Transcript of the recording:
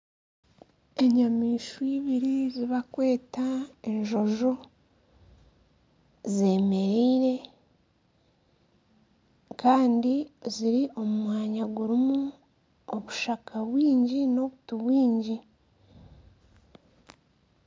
Enyamaishwa ibiri ezibakweta enjojo zemereire kandi ziri omu mwanya gurimu obushaka bwingi n'obuti bwingi.